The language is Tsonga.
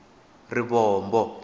rivombo